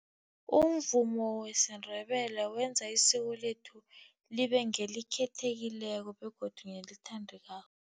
Umvumo wesiNdebele wenza isiko lethu libe ngelikhethekileko begodu nelithandekako.